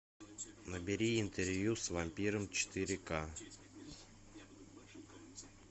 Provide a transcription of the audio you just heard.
набери интервью с вампиром четыре ка